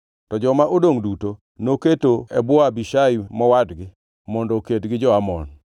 To joma odongʼ duto noketo e bwo Abishai mowadgi mondo oked gi jo-Amon.